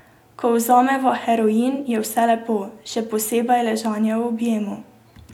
Ko vzameva heroin, je vse lepo, še posebej ležanje v objemu.